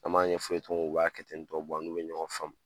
An ɲɛfɔ u ye cogo mi n b'a kɛ ten tɔ an n'u bɛ ɲɔgɔn faamu